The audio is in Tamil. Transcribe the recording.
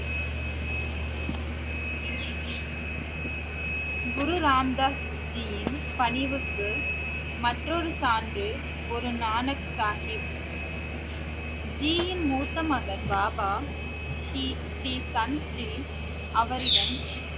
குரு ராம் தாஸ் ஜியின் பணிவுக்கு மற்றொரு சான்று ஒரு நானக் சாஹிப் ஜியின் மூத்த மகன் பாபா ஸ்ரீ சந்த் ஜி அவரிடம்